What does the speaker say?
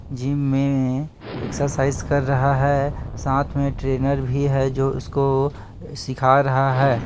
Gym में exercise कर रहा है साथ में ट्रेनर भी है जो इसको सीखा रहा है।